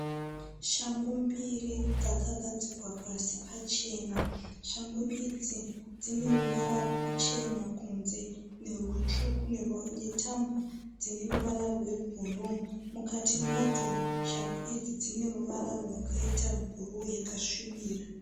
Shangu mbiri dzakagadzikwa pasi pachena. Shangu idzi dzineruvara ruchena kunze nerutsvuku , netambo dzeruvara rwe bhuruu. Mukati madzo shangu idzi dzine ruvara rwakaita bhuruu yakasvibira.